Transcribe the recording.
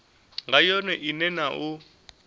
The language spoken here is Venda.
nga yone ine na u